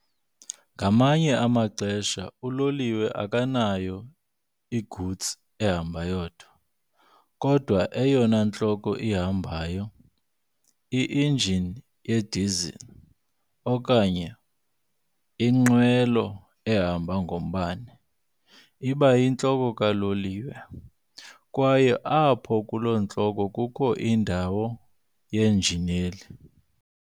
Ngamanye amaxesha uloliwe akanayo igutsi ehamba yodwa, kodwa eyona ntloko ihambayo, injini yedisile okanye linqwelo ehamba ngombane, iba yintloko kaloliwe, kwaye apho kulo ntloko kukho indawo yenjineli.